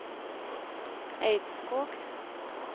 Eidskog